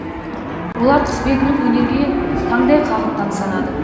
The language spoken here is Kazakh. олар құсбегілік өнерге таңдай қағып тамсанады